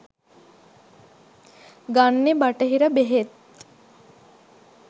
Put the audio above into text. ගන්නෙ බටහිර බෙහෙත්.